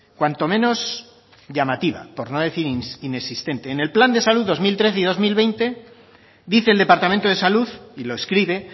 cuanto menos llamativa por no decir inexistente en el plan de salud dos mil trece dos mil veinte dice el departamento de salud y lo escribe